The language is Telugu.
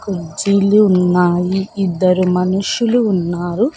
కుర్చీలు ఉన్నాయి ఇద్దరు మనుషులు ఉన్నారు.